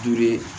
Duuru ye